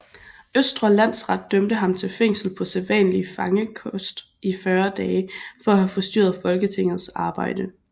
Østre Landsret dømte ham til fængsel på sædvanlig fangekost i 40 dage for at have forstyrret Folketingets arbejde